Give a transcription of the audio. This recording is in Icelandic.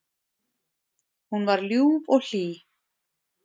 Hún var ljúf og hlý.